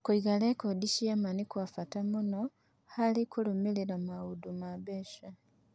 Kũiga rekondi cia ma nĩ kwa bata mũno harĩ kũrũmĩrĩra maũndũ ma mbeca.